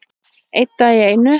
Einn dag í einu.